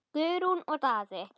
Guðrún og Daði.